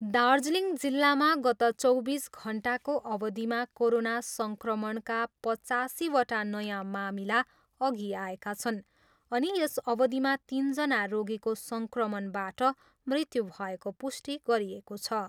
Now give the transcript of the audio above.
दार्जिलिङ जिल्लामा गत चौबिस घन्टाको अवधिमा कोरोना सङ्क्रमणका पचासीवटा नयाँ मामिला अघि आएका छन् अनि यस अवधिमा तिनजना रोगीको सङ्क्रमणबाट मृत्यु भएको पुष्टि गरिएको छ।